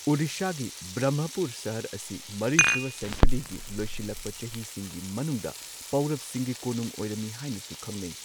ꯑꯣꯔꯤꯁꯥꯒꯤ ꯕ꯭ꯔꯍꯃꯄꯨꯔ ꯁꯍꯔ ꯑꯁꯤ ꯃꯔꯤꯁꯨꯕ ꯁꯦꯟꯆꯨꯔꯤꯒꯤ ꯂꯣꯏꯁꯤꯜꯂꯛꯄ ꯆꯍꯤꯁꯤꯡꯒꯤ ꯃꯅꯨꯡꯗ ꯄꯧꯔꯕꯁꯤꯡꯒꯤ ꯀꯣꯅꯨꯡ ꯑꯣꯏꯔꯝꯃꯤ ꯍꯥꯏꯅꯁꯨ ꯈꯪꯅꯩ꯫